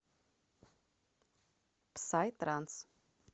псай транс